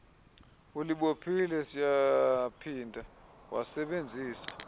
ulibophile siyaphinda wasebenzise